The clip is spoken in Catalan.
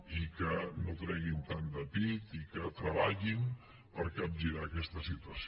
i que no treguin tant de pit i que treballin per capgirar aquesta situació